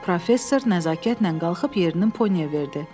Professor nəzakətlə qalxıb yerini Ponyə verdi.